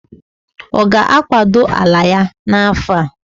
Oga akwado anu ya na ahu a?